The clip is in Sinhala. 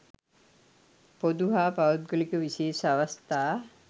පොදු හා පෞද්ගලික විශේෂ අවස්ථා